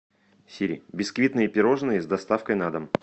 сири бисквитные пирожные с доставкой на дом